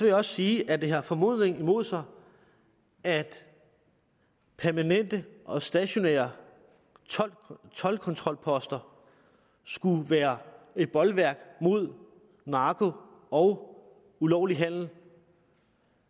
jeg også sige at det har formodningen imod sig at permanente og stationære toldkontrolposter skulle være et bolværk mod narko og ulovlig handel